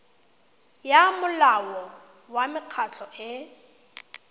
ya molao wa mekgatlho e